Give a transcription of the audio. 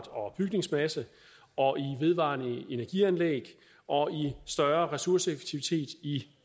og bygningsmasse og i vedvarende energi anlæg og i større ressourceeffektivitet i